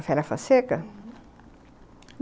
Ofélia Fonseca? Uhum.